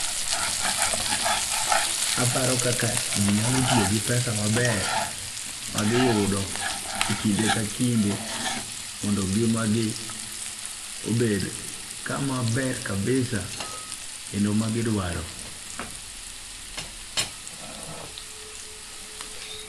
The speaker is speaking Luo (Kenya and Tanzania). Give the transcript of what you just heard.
Aparo kaka ji nyalo tiyo gi pesa maber ma giyudo e kinde ka kinde mondo ngima gi obed kamaber kabisa kendo ma gidwaro.